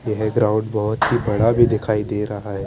यह ग्राउंड बहोत ही बड़ा भी दिखाई दे रहा है।